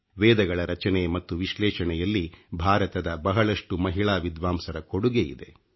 ವೇದಗಳ ರಚನೆ ಮತ್ತು ವಿಶ್ಲೇಷಣೆಯಲ್ಲಿ ಭಾರತದ ಬಹಳಷ್ಟು ಮಹಿಳಾ ವಿದ್ವಾಂಸರ ಕೊಡುಗೆ ಇದೆ